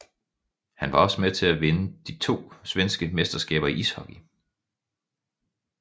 Han var også med til at vinde to svenske mesterskaber i ishockey